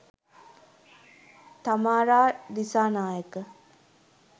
thamara disanayake